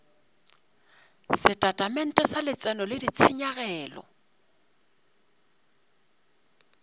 setatamente sa letseno le ditshenyegelo